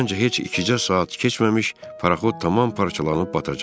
Məncə, heç ikicə saat keçməmiş paraxod tamam parçalanıb batacaq.